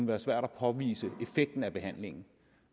være svært at påvise effekten af behandlingen